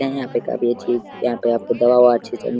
यहाँ पे काफी अच्छी यहाँ पे आपको दवा ओवा अच्छी से --